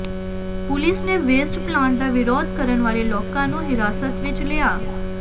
police ਨੇ waste plant ਦਾ ਵਿਰੋਧ ਕਰਨ ਵਾਲੇ ਲੋਕਾਂ ਨੂੰ ਹਿਰਾਸਤ ਵਿੱਚ ਲਿਆ